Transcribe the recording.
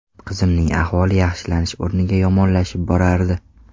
Qizimning ahvoli yaxshilanish o‘rniga yomonlashib borardi.